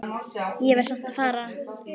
Ég verð samt að fara